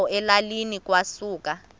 apho elalini kwasuka